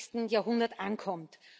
21. Jahrhundert ankommt.